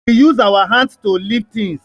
We use our hands to lift things